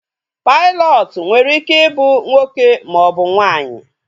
Pailọtụ nwere ike ị bụ nwoke ma ọ bụ nwaanyị